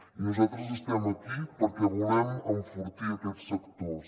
i nosaltres estem aquí perquè volem enfortir aquests sectors